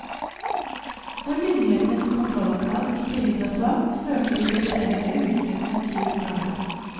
Når myndighetenes kontrollapparat i tillegg var svakt, førte de kulturelle ulikhetene til fravær.